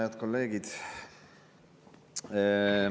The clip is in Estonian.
Head kolleegid!